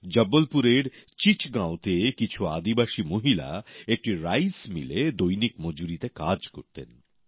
জবলপুরের চিচগাঁওতে কিছু আদিবাসী মহিলা একটি রাইস মিলে দৈনিক মজুরিতে কাজ করতেন